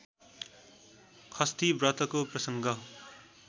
षष्ठी व्रतको प्रसङ्ग